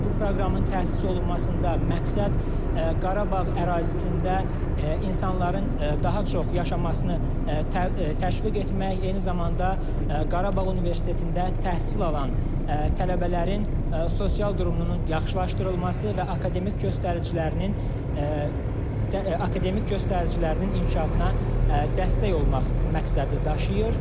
Bu proqramın təsis olunmasında məqsəd Qarabağ ərazisində insanların daha çox yaşamasını təşviq etmək, eyni zamanda Qarabağ Universitetində təhsil alan tələbələrin sosial durumunun yaxşılaşdırılması və akademik göstəricilərinin inkişafına dəstək olmaq məqsədi daşıyır.